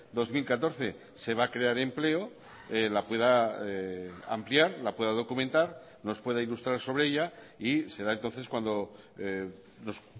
dos mil catorce se va a crear empleo la pueda ampliar la pueda documentar nos pueda ilustrar sobre ella y será entonces cuando nos